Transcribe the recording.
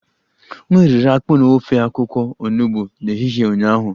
M riri akpu na ofe akwụkwọ onugbo n'ehihie ụnyaahụ